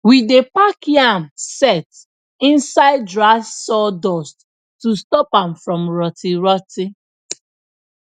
we dey pack yam sett inside dry sawdust to stop am from rotty rotty